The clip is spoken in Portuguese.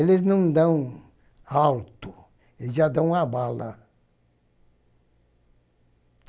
Eles não dão alto, eles já dão a bala.